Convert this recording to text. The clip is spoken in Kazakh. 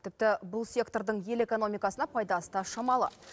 тіпті бұл сектордың ел экономикасына пайдасы да шамалы